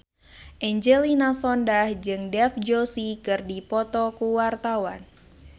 Angelina Sondakh jeung Dev Joshi keur dipoto ku wartawan